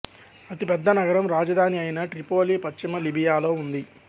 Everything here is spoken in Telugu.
అతిపెద్ద నగరం రాజధాని అయిన ట్రిపోలి పశ్చిమ లిబియాలో ఉంది